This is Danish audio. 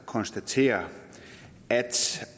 konstatere at